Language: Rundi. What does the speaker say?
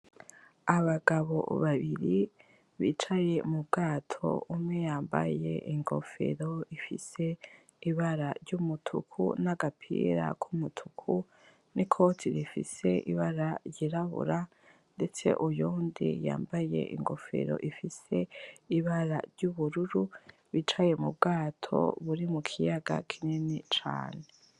Abagabo babiri bicaye m'Ubwato, umwe yambaye ingofero ifise Ibara ry'umutuku, nagapira kumutuku, nikoti rifise Ibara ry'irabura ndetse uyundi yambaye ingofero ifise ibara ry'ubururu bicaye mubwato buri mukiyaga kinini cane.